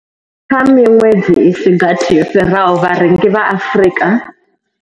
Kha miṅwedzi i si gathi yo fhiraho, vharengi vha Afrika.